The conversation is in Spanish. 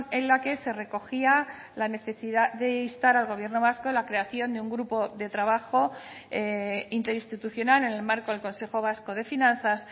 en la que se recogía la necesidad de instar al gobierno vasco la creación de un grupo de trabajo interinstitucional en el marco del consejo vasco de finanzas